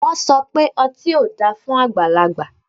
Wọn sọ pe ọti o da fun agbalagba